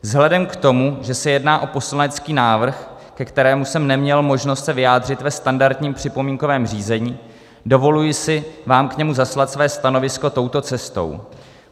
Vzhledem k tomu, že se jedná o poslanecký návrh, ke kterému jsem neměl možnost se vyjádřit ve standardním připomínkovém řízení, dovoluji si vám k němu zaslat své stanovisko touto cestou.